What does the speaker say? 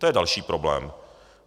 To je další problém.